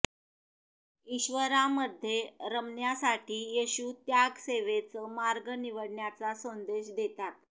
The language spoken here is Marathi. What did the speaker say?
ईश्र्वरामध्ये रमण्यासाठी येशू त्याग सेवेचं मार्ग निवडण्याचा संदेश देतात